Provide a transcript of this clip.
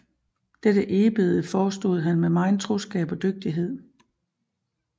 Dette Eebede forestod han med megen troskab og dygtighed